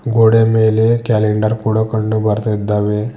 ಗೋಡೆ ಮೇಲೆ ಕ್ಯಾಲೆಂಡರ್ ಕೂಡ ಕಂಡು ಬರ್ತಿದ್ದಾವೆ.